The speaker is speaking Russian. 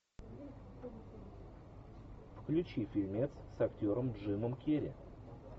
включи фильмец с актером джимом керри